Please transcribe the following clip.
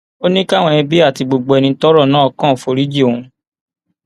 ó ní káwọn ẹbí àti gbogbo ẹni tọrọ náà kàn foríjì òun